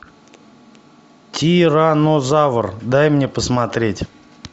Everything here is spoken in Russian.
тиранозавр дай мне посмотреть